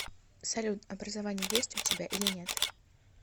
салют образование есть у тебя или нет